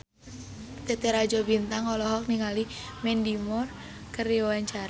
Titi Rajo Bintang olohok ningali Mandy Moore keur diwawancara